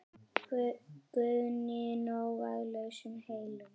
Guðný: Nóg af lausum hellum?